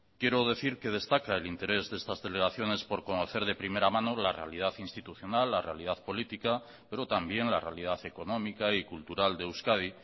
quiero decir que destaca el interés de estas celebraciones por conocer de primera mano la realidad institucional la realidad política pero también la realidad económica y cultural de euskadi